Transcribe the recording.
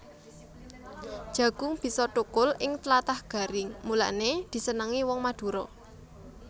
Jagung bisa thukul ing tlatah garing mulané disenengi wong Madura